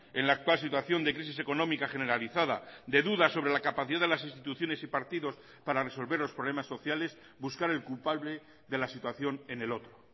en la actual situación de crisis económica generalizada de dudas sobre la capacidad de las instituciones y partidos para resolver los problemas sociales buscar el culpable de la situación en el otro